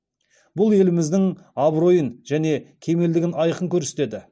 бұл еліміздің абыройын және кемелдігін айқын көрсетеді